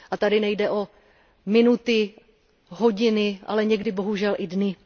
A tady nejde o minuty, hodiny, ale někdy bohužel i o dny.